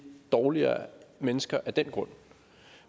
dårligere mennesker af den grund